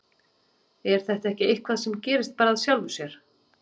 Er þetta ekki eitthvað sem að gerist bara að sjálfu sér?